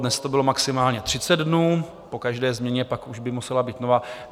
Dnes to bylo maximálně 30 dnů, po každé změně by pak už musela být nová.